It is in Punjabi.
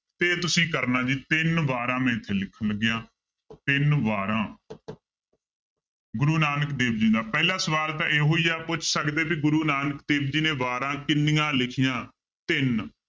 ਤੇ ਤੁਸੀਂ ਕਰਨਾ ਜੀ ਤਿੰਨ ਵਾਰਾਂ ਮੈਂ ਇੱਥੇ ਲਿਖਣ ਲੱਗਿਆਂ ਤਿੰਨ ਵਾਰਾਂ ਗੁਰੂ ਨਾਨਕ ਦੇਵ ਜੀ ਦਾ ਪਹਿਲਾ ਸਵਾਲ ਤਾਂ ਇਹੋ ਹੀ ਆ ਪੁੱਛ ਸਕਦੇ ਵੀ ਗੁਰੂ ਨਾਨਕ ਦੇਵ ਜੀ ਨੇ ਵਾਰਾਂ ਕਿੰਨੀਆਂ ਲਿਖੀਆਂ ਤਿੰਨ